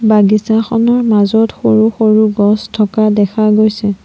বাগিছাখনৰ মাজত সৰু সৰু গছ থকা দেখা গৈছে।